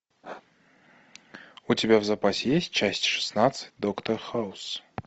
у тебя в запасе есть часть шестнадцать доктор хаус